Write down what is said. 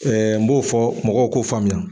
n b'o fɔ mɔgɔw k'o faamuya.